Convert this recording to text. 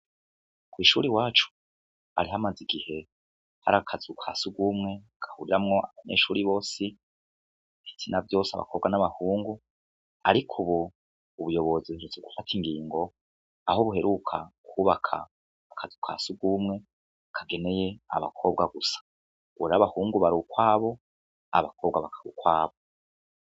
Kw'ishuri wacu arihamaze igihe hari akazu ka si ugumwe kahuriramwo abanyeshuri bosi hisina vyose abakobwa n'abahungu, ariko, ubu ubuyobozi suze gufata ingingo aho buheruka kwubaka akazi uka si ugumwe akageneye abakobwa gusa gurabakwu ungu bari ukwabo abakobwa bakaba ukwabo.